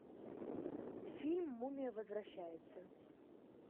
фильм мумия возвращается